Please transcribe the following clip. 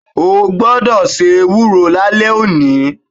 O gbodò se ewúro lálé òní